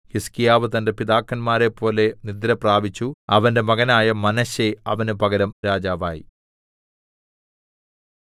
ഹിസ്കീയാവ് തന്റെ പിതാക്കന്മാരെപ്പോലെ നിദ്രപ്രാപിച്ചു അവന്റെ മകനായ മനശ്ശെ അവന് പകരം രാജാവായി